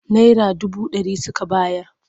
Naira dubu ɗari suka bayar.